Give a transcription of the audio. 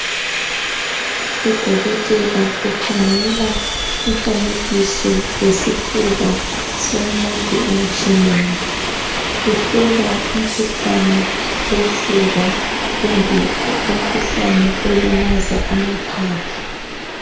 Udokotela ukhangela umfanekiso wesifuba somuntu emtshineni uhlola umkhuhlane wofuba kumbe umkhuhlane olimaza amaphaphu